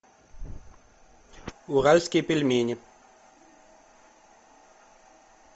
уральские пельмени